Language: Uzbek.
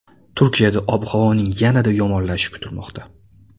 Turkiyada ob-havoning yanada yomonlashishi kutilmoqda.